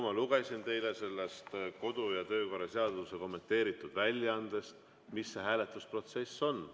Ma lugesin teile kodu‑ ja töökorra seaduse kommenteeritud väljaandest ette, mis see hääletusprotsess on.